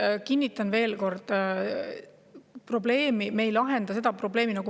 Ei, kinnitan veel kord, et me ei lahenda seda probleemi.